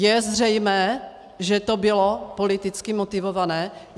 Je zřejmé, že to bylo politicky motivované?